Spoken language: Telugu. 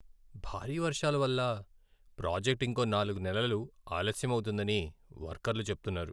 భారీ వర్షాల వల్ల ప్రాజెక్ట్ ఇంకో నాలుగు నెలలు ఆలస్యమౌతుందని వర్కర్లు చెప్తున్నారు.